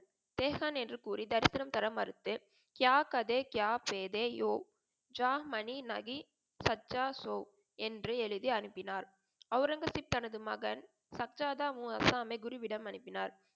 செச்வான் என்று கூறி தரிசனம் தர மறுத்து, கியா கதே கியா பதே யோ ஜா மணி நஹி சச்சா சோ என்று எழுதி அனுப்பினார். அவுரங்கசீப் தனது மகன் சச்சாதா உன் ஆசமி குருவிடம் அனுப்பினார்.